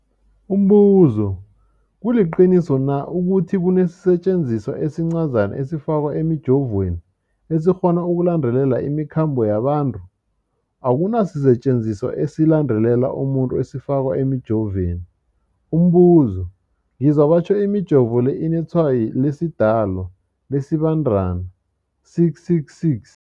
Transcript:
Umbuzo, kuliqiniso na ukuthi kunesisetjenziswa esincazana esifakwa emijovweni, esikghona ukulandelela imikhambo yabantu? Akuna sisetjenziswa esilandelela umuntu esifakwe emijoveni. Umbuzo, ngizwa batjho imijovo le inetshayo lesiDalwa, lesiBandana 666.